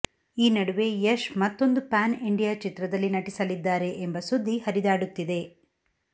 ಈ ನಡುವೆ ಯಶ್ ಮತ್ತೊಂದು ಪ್ಯಾನ್ ಇಂಡಿಯಾ ಚಿತ್ರದಲ್ಲಿ ನಟಿಸಲಿದ್ದಾರೆ ಎಂಬ ಸುದ್ದಿ ಹರಿದಾಡುತ್ತಿದೆ